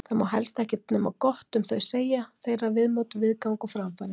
Það má helst ekkert nema gott um þau segja, þeirra viðmót, viðgang og framfarir.